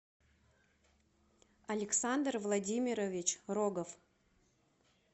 александр владимирович рогов